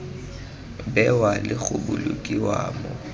bewa le go bolokiwa mo